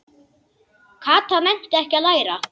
Kata nennti ekki að læra.